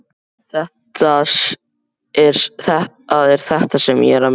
Það er þetta sem ég er að meina.